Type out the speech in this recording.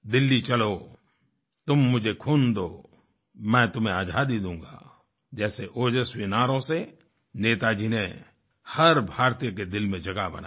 दिल्ली चलोतुम मुझे खून दो मैं तुम्हे आज़ादी दूंगा जैसे ओजस्वी नारों से नेताजी ने हर भारतीय के दिल में जगह बनाई